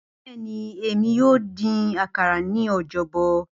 Bẹẹni, Emi yoo din akara ni Ọjọbọ.